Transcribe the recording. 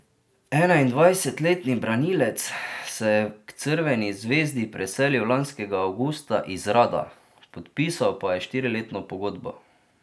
Enaindvajsetletni branilec se je k Crveni zvezdi preselil lanskega avgusta iz Rada, podpisal pa je štiriletno pogodbo.